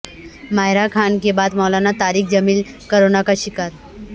ماہرہ خان کے بعد مولانا طارق جمیل کرونا کا شکار